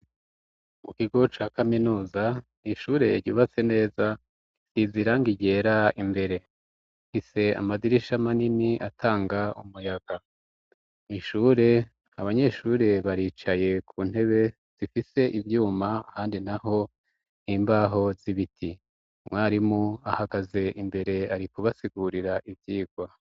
Mu kigo ca kaminuza ishure ryubatse neza risize irangi ryera imbere, rifise amadirisha manini atanga umuyaga, mw'ishure abanyeshure baricaye ku ntebe zifise ivyuma ahandi naho n'imbaho z'ibiti, umwarimu ahagaze imbere ari kubasigurira ivyigwa.